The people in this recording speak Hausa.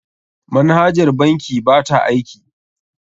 Manhajar bankin ba ta aiki.